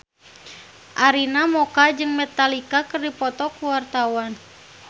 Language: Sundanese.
Arina Mocca jeung Metallica keur dipoto ku wartawan